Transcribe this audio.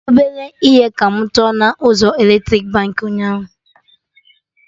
Ọbere ihe ka mụ tọ na ụzọ eletrik Baankị ụnyaahụ